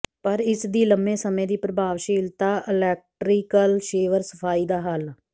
ਪਰ ਇਸ ਦੀ ਲੰਮੇ ਸਮੇਂ ਦੀ ਪ੍ਰਭਾਵਸ਼ੀਲਤਾ ਇਲੈਕਟ੍ਰੀਕਲ ਸ਼ੇਵਰ ਸਫਾਈ ਦਾ ਹੱਲ